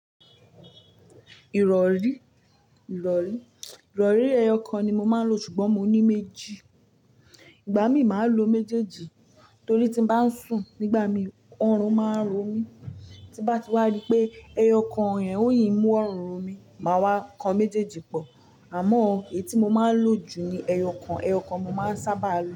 Ìrọ̀rí, ìrọ̀rí, ìrọ̀rí ẹyọ kan ni mo máa ń lo ṣùgbọ́n mo ní méjì. Ìgbà mí máa ń lo méjèèjì torí tí bá ń sùn nígbà mí ọrùn máa ń ro mí, tí bá ti wá ri pé ẹyọ kan yen ò mú ọrùn ro mí, màá wa kan méjèèjì pọ̀. Àmọ́ èyí tí mo máa ń lo jù ni ẹyọ kan. Ẹyọ kan mo máa ń sábà lo.